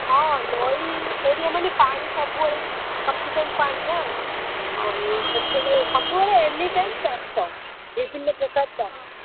ହଁ ନଇ area ମାନେ ପାଣି ସବୁବେଳେ sufficient ପାଣି ନା ଆଉ ସବୁବେଳେ ସବୁବେଳେ anytime ଚାଷ ବିଭିନ୍ନ ପ୍ରକାର ଚାଷ।